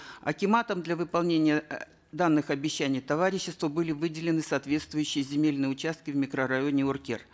акиматом для выполнения э данных обещаний товариществу были выделены соответствующие земельные участки в микрорайоне уркер